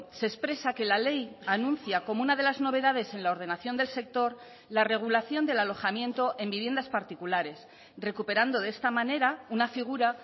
se expresa que la ley anuncia como una de las novedades en la ordenación del sector la regulación del alojamiento en viviendas particulares recuperando de esta manera una figura